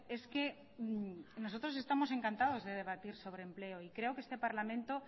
es que nosotros estamos encantados de debatir sobre empleo y creo que este parlamento